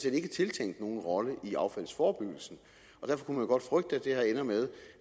ikke er tiltænkt nogen rolle i affaldsforebyggelsen og derfor kunne man godt frygte at det her ender med